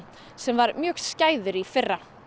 sem var mjög skæður í fyrra